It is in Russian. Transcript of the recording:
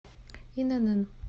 инн